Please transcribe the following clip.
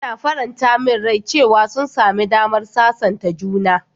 Yana faranta min rai cewa sun sami damar sasanta juna.